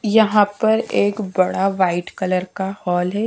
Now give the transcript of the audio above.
यहां पर एक बड़ा व्हाइट कलर का हॉल है।